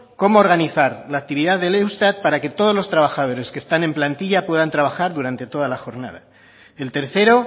cómo organizar la actividad del eustat para que todos los trabajadores que están en plantilla puedan trabajar durante toda la jornada el tercero